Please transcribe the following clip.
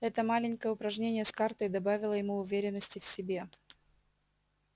это маленькое упражнение с картой добавило ему уверенности в себе